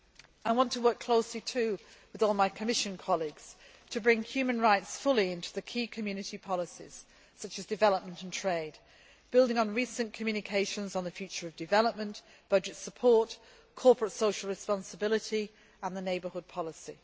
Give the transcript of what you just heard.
I want to work closely, too, with all my Commission colleagues, to bring human rights fully into the key Community policies, such as development and trade, building on recent communications on the future of development, budget support, corporate social responsibility and the neighbourhood